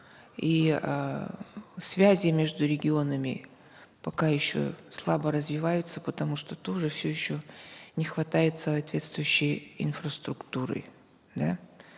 и эээ связи между регионами пока еще слабо разиваются потому что тоже все еще не хватает соответствующей инфраструктуры да